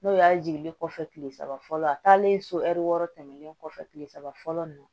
N'o y'a jiginli kɔfɛ kile saba fɔlɔ a taalen so hɛri wɔɔrɔ tɛmɛnen kɔfɛ kile saba fɔlɔ nin na